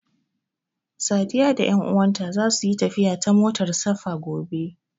Sadiya da ƴanuwanta zasu yi tafiya ta motar safa gobe.